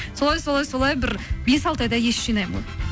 солай солай солай бір бес алты айда ес жинаймын ғой